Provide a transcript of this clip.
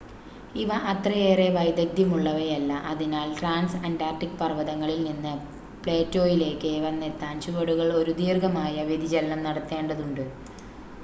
ഇവ അത്രയേറെ വൈദഗ്ദ്യം ഉള്ളവയല്ല അതിനാൽ ട്രാൻസ് അൻ്റാർട്ടിക് പർവ്വതങ്ങളിൽനിന്ന് പ്ലേറ്റോയിലേക്ക് വന്നെത്താൻ ചുവടുകൾ ഒരു ദീർഘമായ വ്യതിചലനം നടത്തേണ്ടതുണ്ട്